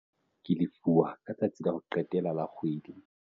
Ke lefuwa ka letsatsi la ho qetela la kgwedi.